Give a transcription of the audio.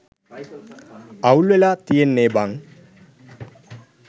අවුල් වෙලා තියෙන්නේ බං